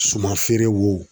Suman feere wo